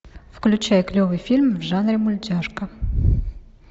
включай клевый фильм в жанре мультяшка